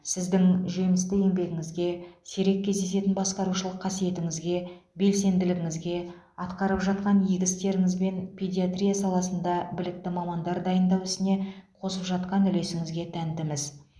сіздің жемісті еңбегіңізге сирек кездесетін басқарушылық қасиетіңізге белсенділігіңізге атқарып жатқан игі істеріңізбен педиатрия саласында білікті мамандар дайындау ісіне қосып жатқан үлесіңізге тәнтіміз